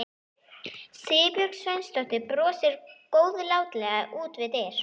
Sigurbjörg Sveinsdóttir brosir góðlátlega út við dyr.